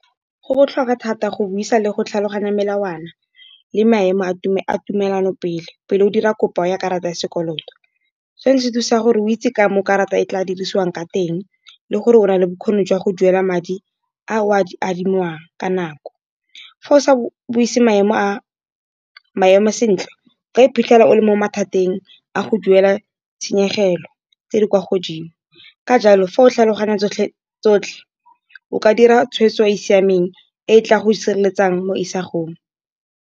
Go botlhokwa thata go buisa le go tlhaloganya melawana le maemo a a tumelano pele o dira kopo ya karata ya sekoloto sone se thusa gore o itse ka mo karata e tla dirisiwang ka teng, le gore o nale bokgoni jwa go duela madi a o a di adimang ka nako. Fa o sa buisi maemo sentle, o ka iphitlhela o le mo mathateng a go duela tshenyegelo tse di kwa godimo. Ka jalo fa o tlhaloganya tsotlhe o ka dira tshweetso e e siameng e tla go sireletsang mo isagong.